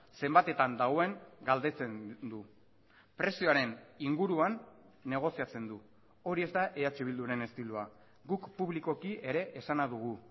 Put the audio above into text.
zenbatetan dagoen galdetzen du prezioaren inguruan negoziatzen du hori ez da eh bilduren estiloa guk publikoki ere esana dugu